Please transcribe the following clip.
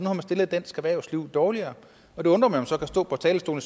har man stillet dansk erhvervsliv dårligere og det undrer mig at man så kan stå på talerstolen